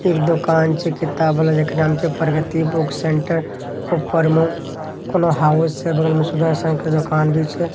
एक दुकान छै किताब वाला जकरा में छै प्रगति बुक सेंटर ऊपर में कोनो हाउस छै बगल में सुदर्शन के दुकान भी छै।